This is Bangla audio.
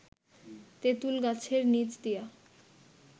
তেঁতুল গাছের নিচ দিয়া